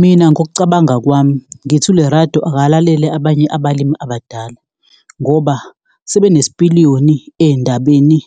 Mina ngokucabanga kwami ngithi uLerato akalalele abanye abalimi abadala, ngoba sebenesipiliyoni ey'ndabeni